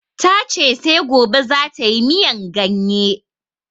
Ta ce sai gobe za tayi miyan ganye